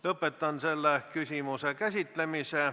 Lõpetan selle küsimuse käsitlemise.